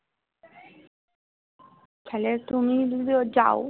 তালে তুমিও যদি যাও